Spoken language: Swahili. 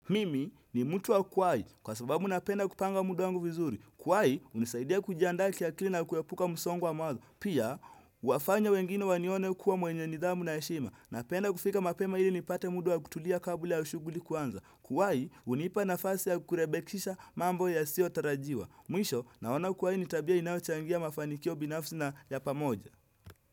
Mimi ni mtu wa kuwai, kwa sababu napenda kupanga muda wangu vizuri. Kuwai, hunisaidia kujiandaa kiakili na kuepuka msongo wa mawazo. Pia, huwafanya wengine wanione kuwa mwenye nidhamu na heshima. Napenda kufika mapema ili nipate muda wa kutulia kabla ya shughuli kuanza. Kuwai, hunipa nafasi ya kurebekisha mambo yasiotarajiwa. Mwisho, naona kuwai ni tabia inayochangia mafanikio binafsi na ya pamoja.